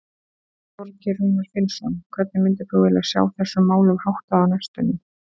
Þorgeir Rúnar Finnsson: Hvernig myndir þú vilja sjá þessum málum háttað á næstunni?